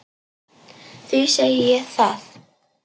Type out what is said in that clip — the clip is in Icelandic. Því segi ég það.